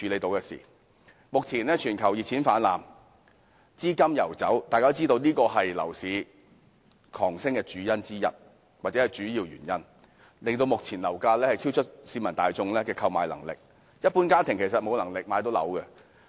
目前，全球熱錢泛濫，資金游走，大家都知道這是樓市狂飆的主要原因，以致目前樓價超出市民大眾的購買能力，一般家庭根本買不起。